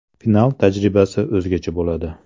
Final tajribasi o‘zgacha bo‘ladi.